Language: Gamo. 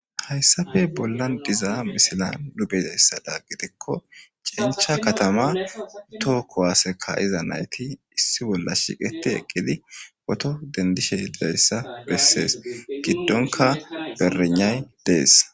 Hayssappe bollan deyzza misilla nu beyizzayssa gidikko chencha katama toho kuwasse kayzza naytti issi bolla shiqidi pooto dendizzayssa besses gidonkka barynay dees.